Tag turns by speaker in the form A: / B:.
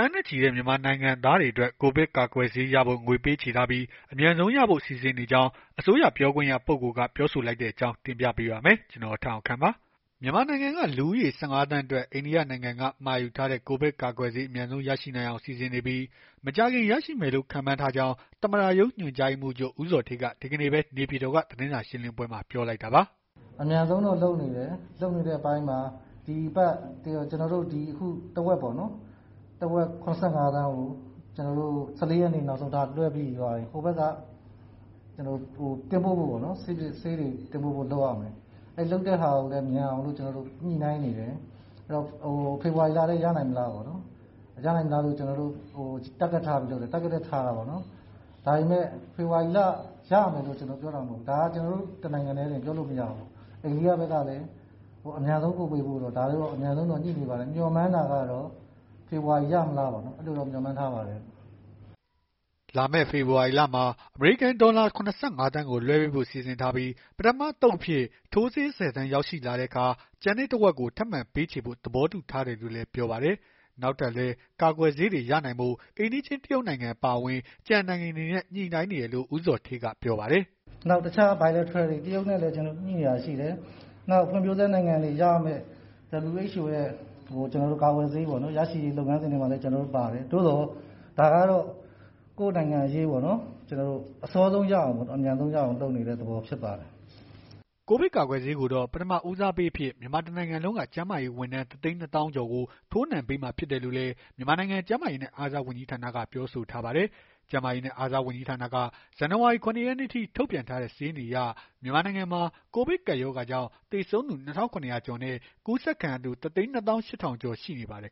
A: န်းနဲ့ချီတဲ့ မြန်မာနိုင်ငံသားတွေအတွက် ကိုဗစ်ရောဂါ ကာကွယ်ဆေးရဖို့ ငွေပေးချေထားပြီး၊ အမြန်ဆုံးရဖို့ စီစဉ်နေကြောင်း အစိုးရပြောခွင့်ရ ပုဂ္ဂိုလ်က ပြောဆိုလိုက်တဲ့အကြောင်းကို ဗွီအိုအေမြန်မာပိုင်း သတင်းထောက် ကိုထက်အောင်ခန့်က တင်ပြပေးပါမယ်။ မြန်မာနိုင်ငံက လူဦးရေ ၁၅ သန်းအတွက် အိန္ဒိယနိုင်ငံက မှာယူထားတဲ့ ကိုဗစ်ကာကွယ်ဆေး အမြန်ဆုံး ရရှိနိုင်အောင် စီစဉ်နေပြီး မကြာခင် ရရှိမယ်လို့ ခန့်မှန်းထားကြောင်း သမ္မတရုံး ညွှန်ကြားရေးမှူးချုပ် ဦးဇော်ဌေးက ဒီကနေ့ပဲ နေပြည်တော်က သတင်းစာရှင်းလင်းပွဲမှာ ပြောလိုက်တာပါ။ “အမြန်ဆုံးတော့ လုပ်နေတယ်
B: ။ လုပ်နေတဲ့အပိုင်းမှာ အခုတဝက်ပေါ့နော်။ ၇၅ သန်းကို ၁၄ ရက်နေ့ နောက်ဆုံးထား လွှဲပေးပြီးသွားရင် ဟိုဘက်က ဆေးတွေတင်ပို့ဖို့ လုပ်ရမယ်။ အဲ့လုပ်တဲ့ဟာကိုလည်း မြန်အောင် ညှိနှိုင်းနေတယ်။ ဖေဖော်ဝါရီလထဲ ရနိုင်မလားပေါ့နော်။ Target ထားတာပေါ့နော်။ ဒါပေမဲ့ ဖေဖော်ဝါရီလထဲရ ရမယ်လို့ ပြောတာ မဟုတ်ဘူးနော်။ ဒါ ကျနော်တို့ တနိုင်ငံတည်းတင် ပြောလို့မရဘူး။ အိန္ဒိယဘက်ကလည်း အမြန်ဆုံး ပို့ပေးဖို့ကို အမြန်ဆုံးညှိနေပါတယ်။ မျှော်မှန်းတာကတော့ ဖေဖော်ဝါရီ ရမလားပေါ့။ အဲ့ဒီလိုတော့ မျှော်မှန်းတယ်။”
A: လာမယ့် ဖေဖော်ဝါရီလမှာ အမေရိကန် ဒေါ်လာ ၇၅ သန်းကို လွှဲပေးဖို့ စီစဉ်ထားပြီး ပထမအသုတ်အဖြစ် ထိုးဆေး ၁၀ သန်းရောက်ရှိလာတဲ့အခါ ကျန်တဲ့တဝက်ကို ထပ်မံပေးချေဖို့ သဘောတူထားတယ်လို့လည်း ပြောပါတယ်။ နောက်ထပ်လည်း ကာကွယ်ဆေးတွေ ရနိုင်ဖို့ အိမ်နီးချင်း တရုတ်နိုင်ငံ အပါအဝင် ကျန်နိုင်ငံတွေနဲ့ ညှိနှိုင်းနေတယ်လို့ ဦးဇော်ဌေးက ပြောပါတယ်။ “နောက် Bilateral တွေ တရုတ်နဲ့လည်းညှိတာ ရှိတယ်။ ဖွံ့ဖြိုးဆဲနိုင်ငံ
B: တွေရ ရမယ့် WHO ရဲ့ ကာကွယ်ဆေး ရရှိရေး လုပ်ငန်းစဉ်တွေမှာလည်း ကျနော်တို့ ပါတယ်။ သို့သော် ဒါကတော့ ကိုယ့်နိုင်ငံအရေးပေါ်နော် အစောဆုံးရအောင် အမြန်ဆုံး ရအောင်လုပ်နေတဲ့ သဘောဖြစ်ပါတယ်။”
A: ကိုဗစ်ရောဂါ ကာကွယ်ဆေးကိုတော့ ပထမဦးစားပေးအဖြစ် မြန်မာတနိုင်လုံးက ကျန်းမာရေးဝန်ထမ်း ၁၂၀,၀၀၀ ကျော်ကို ထိုးနှံပေးမှာ ဖြစ်တယ်လို့လည်း မြန်မာနိုင်ငံ ကျန်းမာရေးနဲ့အားကစားဝန်ကြီးဌာနက ပြောဆိုထားပါတယ်။ ကျန်းမာရေးနဲ့ အားကစားဝန်ကြီးဌာနက ဇန်နဝါရီ ၇ ရက်နေ့အထိ ထုတ်ပြန်ထားတဲ့ စာရင်းတွေအရ မြန်မာနိုင်ငံမှာ ကိုဗစ်ကပ်ရောဂါကြောင့် သေဆုံးသူ ၂,၇၀၀ ကျော်နဲ့ ကူးစက်ခံရသူ ၁၂၈,၀၀၀ ကျော် ရှိနေပါတယ်